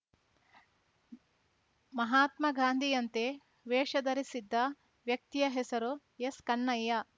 ಮಹಾತ್ಮ ಗಾಂಧಿಯಂತೆ ವೇಷ ಧರಿಸಿದ್ದ ವ್ಯಕ್ತಿಯ ಹೆಸರು ಎಸ್‌ಕನ್ನಯ್ಯ